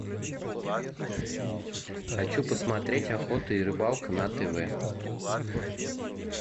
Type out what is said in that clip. хочу посмотреть охота и рыбалка на тв